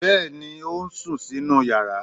Bẹ́ẹ̀ ni, ó ń sùn sínú yàrá.